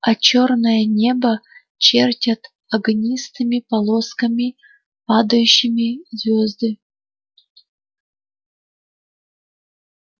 а чёрное небо чертят огнистыми полосками падающими звёзды